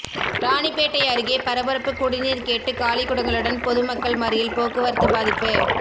ராணிப்பேட்டை அருகே பரபரப்பு குடிநீர் கேட்டு காலிக்குடங்களுடன் பொதுமக்கள் மறியல் போக்குவரத்து பாதிப்பு